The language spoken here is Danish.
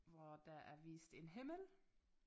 Hvor der er vist en himmel